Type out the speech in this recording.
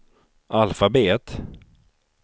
alfabet